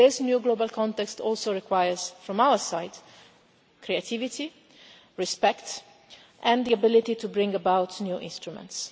This new global context also requires from our side creativity, respect and the ability to bring about new instruments.